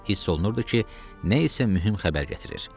Hiss olunurdu ki, nə isə mühüm xəbər gətirir.